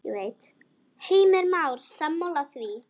Heimir Már: Sammála því?